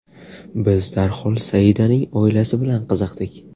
Biz darhol Saidaning oilasi bilan qiziqdik.